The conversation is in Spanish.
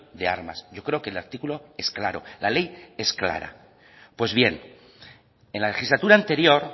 de armas yo creo que el artículo es claro la ley es clara pues bien en la legislatura anterior